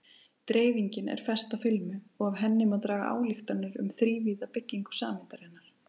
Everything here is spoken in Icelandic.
Dreifingin er fest á filmu og af henni má draga ályktanir um þrívíða byggingu sameindarinnar.